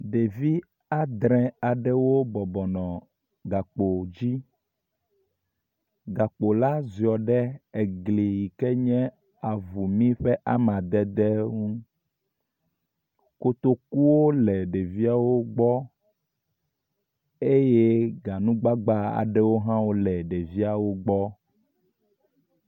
Ɖevi adre aɖewo bɔbɔnɔ gakpo dzi. Gakpo la ziɔ ɖe egli yi ke nye avumi ƒe amadede ŋu. kotokuwo le ɖeviawo gbɔ eye ganugbagba aɖewo hã le ɖeviawo gbɔ.